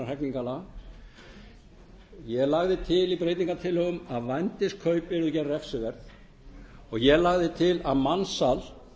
almennra hegningarlaga ég lagði til í breytingartillögum að vændiskaup yrðu gerð refsiverð og ég lagði til að mansal